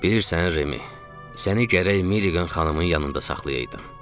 Bilirsən Remi, səni gərək Meri qan xanımın yanında saxlayaydım.